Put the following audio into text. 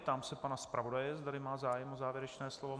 Ptám se pana zpravodaje, zda má zájem o závěrečné slovo.